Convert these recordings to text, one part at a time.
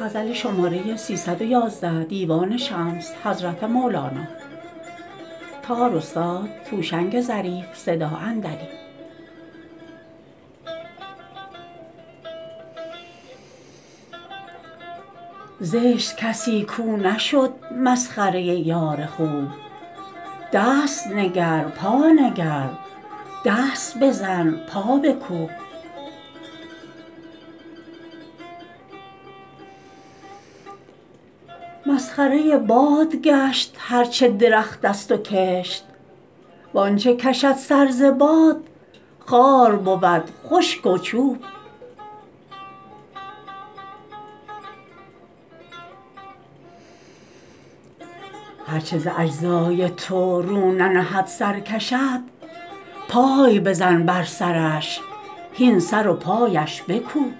زشت کسی کو نشد مسخره یار خوب دست نگر پا نگر دست بزن پا بکوب مسخره باد گشت هر چه درختست و کشت و آنچ کشد سر ز باد خار بود خشک و چوب هر چه ز اجزای تو رو ننهد سر کشد پای بزن بر سرش هین سر و پایش بکوب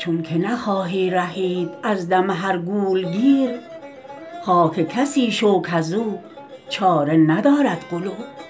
چونک نخواهی رهید از دم هر گول گیر خاک کسی شو کز او چاره ندارد قلوب